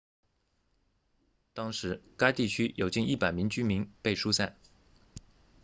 当时该地区有近100名居民被疏散